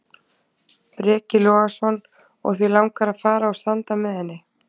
Breki Logason: Og þig langar að fara og standa með henni?